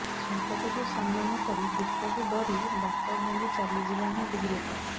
ସଂକଟକୁ ସାମ୍ନା ନକରି ଦୁଃଖକୁ ଡରି ବାଟ ଭାଙ୍ଗି ଚାଲିଯିବା ହିଁ ଭୀରୁତା